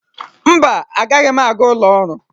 Mba, agaghị m aga ụlọ ọrụ.